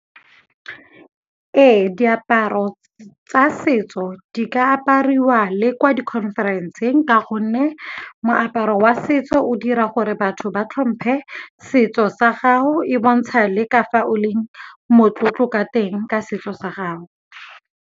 Ee, diaparo tsa setso di ka apariwa le kwa di-conference-eng ka gonne moaparo wa setso o dira gore batho ba tlhomphe setso sa gago, e bontsha le ka fa o leng motlotlo ka teng ka setso sa gago.